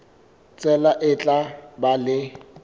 tsela e tla ba le